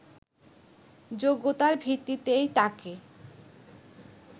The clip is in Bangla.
যোগ্যতার ভিত্তিতেই তাকে